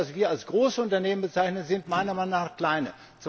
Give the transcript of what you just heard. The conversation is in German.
Aber das, was wir als Großunternehmen bezeichnen, sind meiner Meinung nach kleine.